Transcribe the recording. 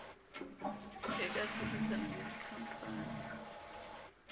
e ka hlodisana le dikhampani